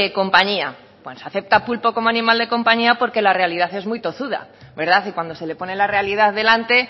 compañía pues si acepta pulpo como animal de compañía porque la realidad es muy tozuda verdad y cuando se le pone la realidad delante